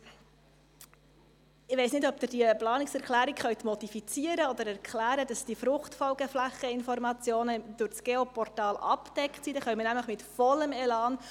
Wenn das Klima immer wärmer wird, gibt es auf einmal auch in Meiringen oder an anderen Orten, wo man bisher noch nicht darüber diskutiert hat, Diskussionen über Fruchtfolgeflächen.